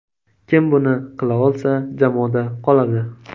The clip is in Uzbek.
Kim buni qila olsa, jamoada qoladi.